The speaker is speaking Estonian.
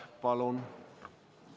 Palun!